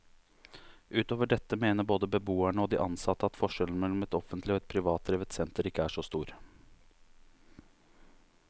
Utover dette mener både beboerne og de ansatte at forskjellen mellom et offentlig og et privatdrevet senter ikke er så stor.